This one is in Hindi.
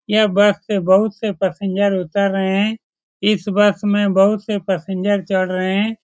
यह बस से बहुत से पैसेंजर उतर रहे हैं इस बस मे बहुत से पैसेंजर चढ़ रहे हैं।